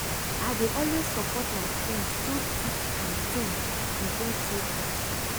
i dey always support my friends through thick and thin we get true friendship.